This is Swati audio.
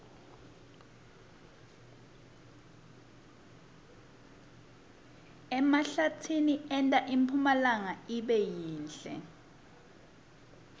emahlatsi enta impumlanga ibe yinhle